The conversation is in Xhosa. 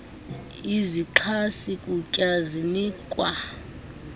izixhasi kutya zinikwa